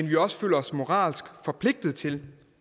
vi også føler os moralsk forpligtet til